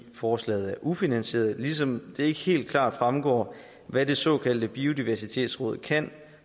forslaget er ufinansieret ligesom det ikke helt klart fremgår hvad det såkaldte biodiversitetsråd kan